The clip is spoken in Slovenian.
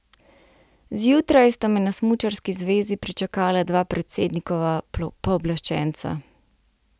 Zjutraj sta me na smučarski zvezi pričakala dva predsednikova pooblaščenca.